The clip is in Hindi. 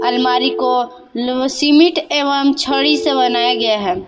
अलमारी को ल सिमिट एवं छड़ी से बनाया गया है।